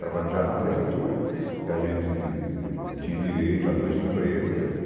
Trabalhando já na prefeitura, que a gente tinha direito a dois empregos.